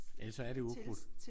Ellers så er det ukrudt